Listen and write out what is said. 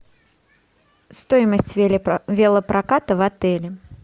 стоимость велопроката в отеле